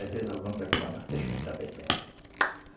Às vezes alguém está com uma garrafa, deixa ele estar bebendo.